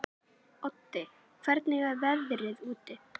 Oddi, hvernig er veðrið úti?